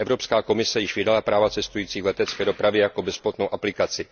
Evropská komise již vydala práva cestujících v letecké dopravě jako bezplatnou aplikaci.